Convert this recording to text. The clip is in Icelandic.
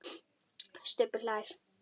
Stubbur hlær.